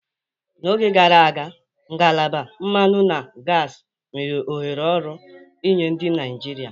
N'oge gara aga, ngalaba mmanụ na gasi nwere ohere ọrụ nye ndị Naijiria.